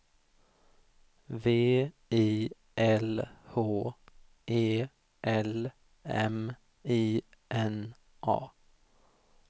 V I L H E L M I N A